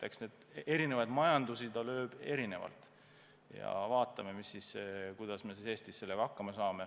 Eks ta eri majandusi tabas erinevalt ja vaatame, kuidas me Eestis sellega hakkama saame.